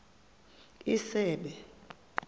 isebe